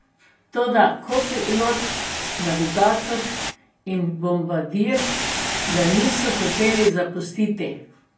Toda kopilot, navigator in bombardir ga niso hoteli zapustiti.